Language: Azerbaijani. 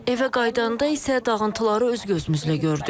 Evə qayıdanda isə dağıntıları öz gözümüzlə gördük.